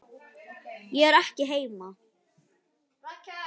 Ég er ekki heima